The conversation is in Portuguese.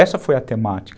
Essa foi a temática.